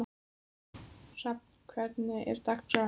Hrafn, hvernig er dagskráin í dag?